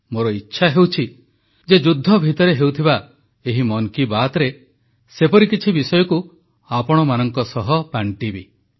ମୋର ଇଚ୍ଛା ହେଉଛି ଯେ ଯୁଦ୍ଧ ଭିତରେ ହେଉଥିବା ଏହି ମନ୍ କି ବାତ୍ରେ ସେପରି କିଛି ବିଷୟକୁ ଆପଣମାନଙ୍କ ସହ ବାଂଟିବି